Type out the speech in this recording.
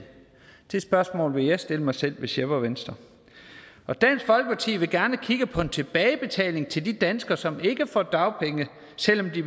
det spørgsmål ville jeg stille mig selv hvis jeg var venstre dansk folkeparti vil gerne kigge på en tilbagebetaling til de danskere som ikke får dagpenge selv om de